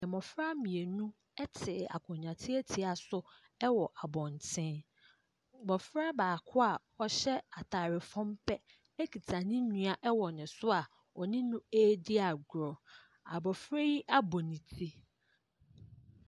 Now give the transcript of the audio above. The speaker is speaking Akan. Mmɔfra mmienu te akonnwa tiatia so wɔ abɔnten. Abɔfra baako a ɔhyɛ taade fem pɛ kita ne nua w ne so a ɔne no ɛredi agorɔ. Abɔfra yi abɔ ne ti.